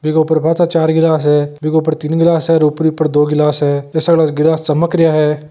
बिके ऊपर पाछा चार गिलास है बिके उपर तीन गिलास है और ऊपर ही ऊपर दो गिलास है ये सारा गिलास चमक रिया है।